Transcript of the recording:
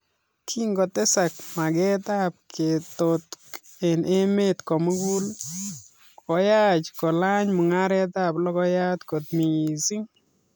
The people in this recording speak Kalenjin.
Kingotesak makeet ap ketotok eng emeet komugul koyai kolach mungaret ap logoiyat kot misiing